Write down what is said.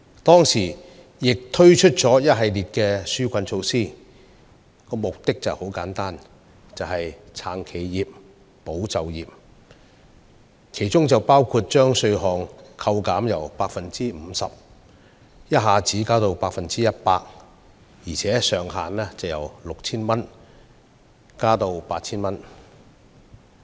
當時，政府推出了一系列紓困措施，其目的十分簡單明確，就是要"撐企業、保就業"，當中包括把稅項扣減百分比由 50% 一口氣增至 100%， 而上限亦由 6,000 元調高至 8,000 元。